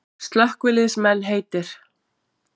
Slökkviliðsmenn heitir